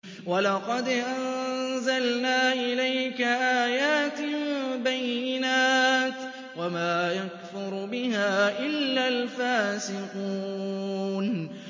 وَلَقَدْ أَنزَلْنَا إِلَيْكَ آيَاتٍ بَيِّنَاتٍ ۖ وَمَا يَكْفُرُ بِهَا إِلَّا الْفَاسِقُونَ